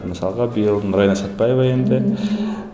мысалға биыл нұрайна сәтпаева енді